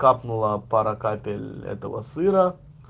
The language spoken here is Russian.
капнула пара капель этого сыра